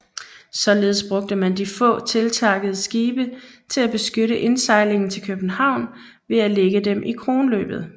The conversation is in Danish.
Således brugte man de få tiltakkede skibe til at beskytte indsejlingen til København ved at lægge dem i Kronløbet